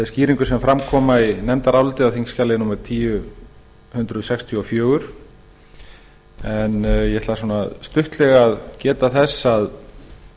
skýringum sem fram koma í nefndaráliti á þingskjali númer eitt þúsund sextíu og fjögur en ég ætla stuttlega að geta þess að